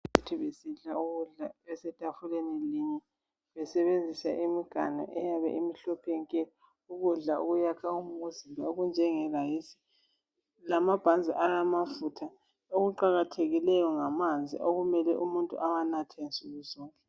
Besidla ukudla besetafuleni linye besebenzisa imiganu eyabe imhlophe nke ukudla okuyakha umuzimba okunjenge rice lamabhanzi alamafutha okuqakathekileyo ngamanzi okumele umuntu awanathe nsukuzonke.